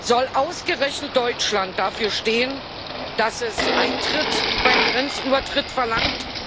Soll ausgerechnet Deutschland dafür stehen, dass es Eintritt beim Grenzübertritt verlangt?